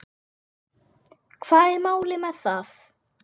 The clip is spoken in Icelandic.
Hvað er málið með það?